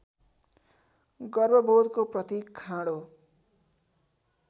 गर्वबोधको प्रतीक खाँडो